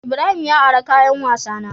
Ibrahim ya ari kayan wasa na.